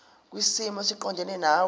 kwisimo esiqondena nawe